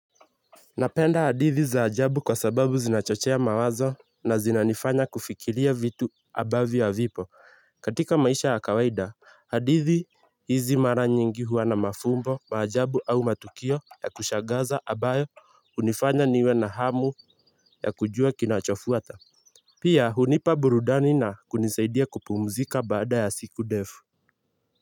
Napenda hadithi za ajabu kwa sababu zinachochea mawazo na zinanifanya kufikiria vitu ambavyo ha vipo. Katika maisha ya kawaida, hadithi hizi mara nyingi huwa na mafumbo, maajabu au matukio ya kushaghaza ambayo hunifanya niwe na hamu ya kujua kinachofuata. Pia hunipa burudani na kunisaidia kupumzika baada ya siku ndefu.